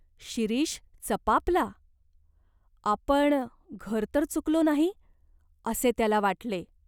शिरीष चपापला. आपण घर तर चुकलो नाही, असे त्याला वाटले.